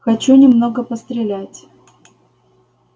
хочу немного пострелять